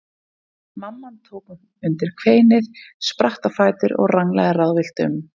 Mamman tók undir kveinið, spratt á fætur og ranglaði ráðvillt um.